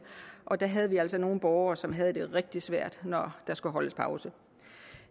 og der havde vi altså nogle borgere som havde det rigtig svært når der skulle holdes pause